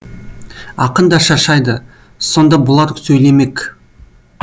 ақын да шаршайды сонда бұлар сөйлемек